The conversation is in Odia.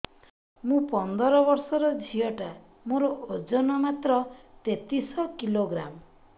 ମୁ ପନ୍ଦର ବର୍ଷ ର ଝିଅ ଟା ମୋର ଓଜନ ମାତ୍ର ତେତିଶ କିଲୋଗ୍ରାମ